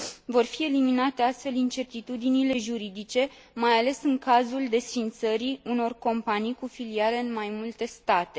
Vor fi eliminate, astfel, incertitudinile juridice, mai ales în cazul desființării unor companii cu filiale în mai multe state.